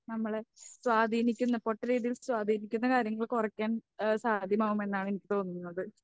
നമ്മളെ സ്വാധീനിക്കുന്ന രീതിയിൽ സ്വാധീനിക്കുന്ന കാര്യങ്ങൾ കുറയ്ക്കാൻ ഏഹ് സാധ്യമാകുമെന്നാണ് എനിക്ക് തോന്നുന്നത്.